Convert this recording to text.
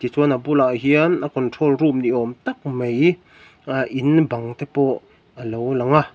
chuan a bulah hian a control room ni awm tak mai aah in bang te pawh a lo lang a.